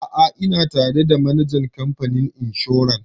A'a ina tare da manajan kamfanin inshor